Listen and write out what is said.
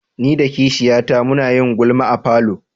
Ni da kishiyata mun yi gulma a falo.